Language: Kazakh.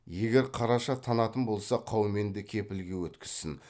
егер қараша танатын болса қауменді кепілге өткізсін